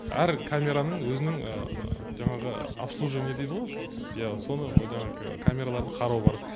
әр камераның өзінің жаңағы обслуживание дейді ғо иә соны жаңа камераларды қарау бар